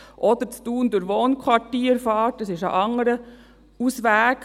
Oder dass man in Thun durch Wohnquartiere fährt, ist ein anderer Ausweg.